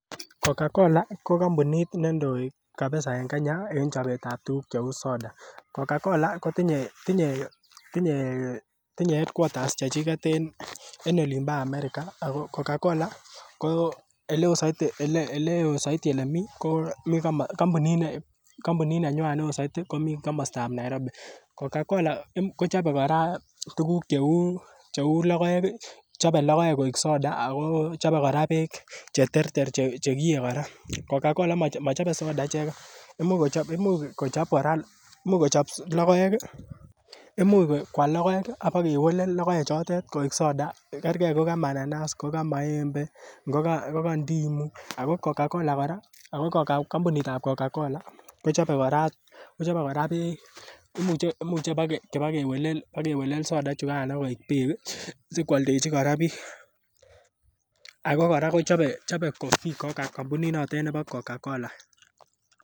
Cocacola ko kompunit neindoi kabisa en Kenya en chobeet ab tuguk cheu Soda, Cocacola ko tinye headquarters chechiget en olimpo America ago Cocacola ko oleo soiti olemi kompuninwan ko olimpo Nairobi, Cocacola kochobe kora tuguk cheu logoek koik Soda ako chobe kora beek cheterter chegiyee, Cocacola mochobe Soda ichegen imuch kwal logoek ak ibakewelel logoek chotet koik Soda kergee ingogaa mananas ,ingogaa maembe, ngogaa ndimo, ago kompunit ab Cocacola kochobe kora beek imuche ibokewelel Soda ichugan ibokoik beek sikwoldechi kora biik, ako kora chobe Cofee kompunit notet nebo Cocacola.